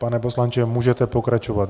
Pane poslanče, můžete pokračovat.